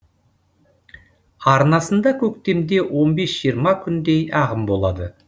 арнасында көктемде он бес жиырма күндей ағын болады